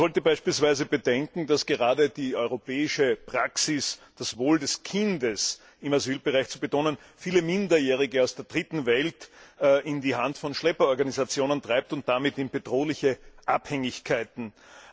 Man sollte beispielsweise bedenken, dass gerade die europäische Praxis, das Wohl des Kindes im Asylbereich zu betonen, viele Minderjährige aus der Dritten Welt in die Hand von Schlepperorganisationen und damit in bedrohliche Abhängigkeiten treibt.